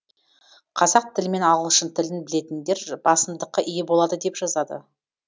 қазақ тілі мен ағылшын тілін білетіндер басымдыққа ие болады деп жазады